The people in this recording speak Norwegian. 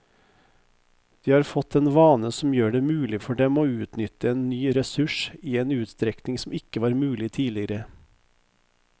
De har fått en vane som gjør det mulig for dem å utnytte en ny ressurs i en utstrekning som ikke var mulig tidligere.